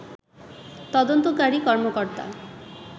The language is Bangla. তদন্তকারী কর্মকর্তা